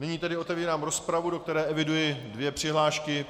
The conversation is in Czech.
Nyní tedy otevírám rozpravu, do které eviduji dvě přihlášky.